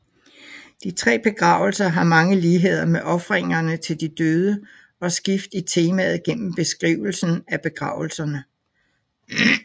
De tre begravelser har mange ligheder med ofringerne til de døde og skift i temaet gennem beskrivelsen af begravelserne